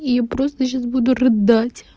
я просто сейчас буду рыдать